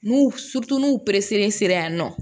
N'u n'u sera yan nɔ